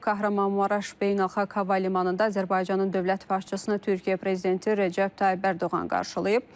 Kahramanmaraş Beynəlxalq Hava Limanında Azərbaycanın dövlət başçısını Türkiyə prezidenti Rəcəb Tayyib Ərdoğan qarşılayıb.